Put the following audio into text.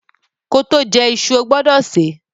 Koto je isu, o gbúdò se